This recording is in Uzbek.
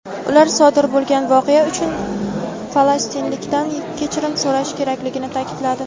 ular sodir bo‘lgan voqea uchun falastinliklardan kechirim so‘rashi kerakligini ta’kidladi.